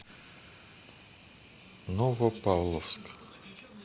новопавловск